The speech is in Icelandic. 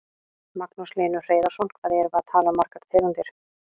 Magnús Hlynur Hreiðarsson: Hvað erum við að tala um margar tegundir?